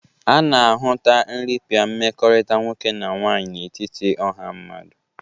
A na-ahụta nrịpịa mmekọrịta nwoke na nwaanyị n'etiti ọha mmadụ.